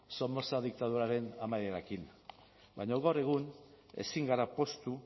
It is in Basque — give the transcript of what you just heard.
somoza diktaduraren amaierarekin baina gaur egun ezin gara poztu